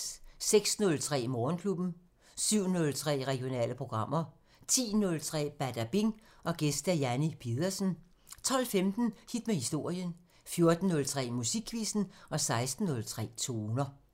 06:03: Morgenklubben 07:03: Regionale programmer 10:03: Badabing: Gæst Janni Pedersen 12:15: Hit med historien 14:03: Musikquizzen 16:03: Toner